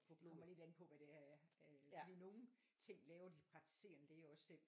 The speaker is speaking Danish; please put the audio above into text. Det kommer lidt an på hvad det er for nogle ting laver de praktiserende læger også selv